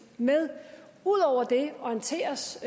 med ud over det orienteres